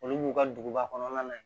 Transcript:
Olu b'u ka duguba kɔnɔna na yen